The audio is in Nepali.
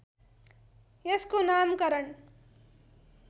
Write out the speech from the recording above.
यसको नामकरण